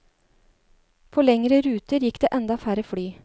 På lengre ruter gikk det enda færre fly.